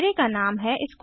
array का नाम हैsquares